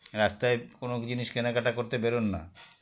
রাস্তায় কোনো জিনিস কেনাকাটা করতে বেরোন না